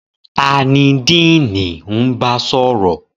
Ta ni Diini n ba sọrọ?